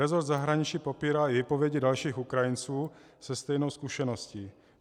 Resort zahraničí popírá i výpovědi dalších Ukrajinců se stejnou zkušeností.